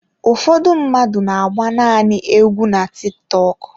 Ụfọdụ mmadụ n'agba nanị égwu na Tiktọk.